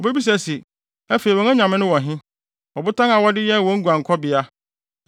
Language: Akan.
Obebisa se, “Afei wɔn anyame no wɔ he, ɔbotan a wɔde yɛɛ wɔn guankɔbea,